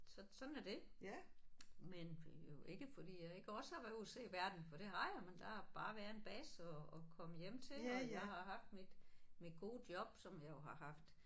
Så sådan er det. Men jo ikke fordi jeg ikke også har været ude og se verden for det har jeg men der har bare været en base at at komme hjem til og jeg har haft mit mit gode job som jeg jo har haft